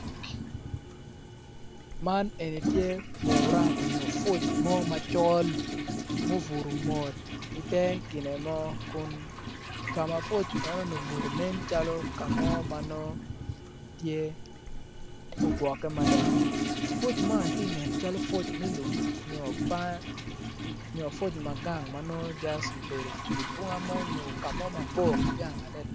Man eni tye pura oyo puc mo macol mobuto mot i ter gine mo kun kama puc enoni obuto nen calo kamo ma tye mogwoke mada puc man tye nen calo puc me lum nyo puc mo magang manong just obedo idye bunga mo onyo kamo mabor kigang adada.